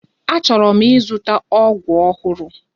Achọrọ m ịzụta ọgụ ọhụrụ.